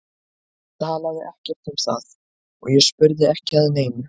Hann talaði ekkert um það og ég spurði ekki að neinu.